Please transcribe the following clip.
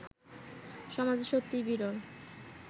সমাজে সত্যিই বিরল